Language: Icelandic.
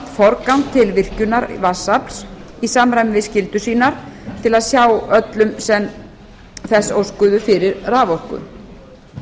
forgang til virkjunar vatnsafls í samræmi við skyldur sínar til að sjá öllum sem þess óskuðu fyrir raforku